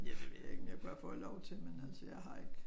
Ja det ved jeg ikke om jeg kunne have fået lov til men altså jeg har ik